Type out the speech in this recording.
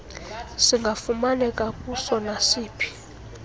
singafumaneka kuso nasiphi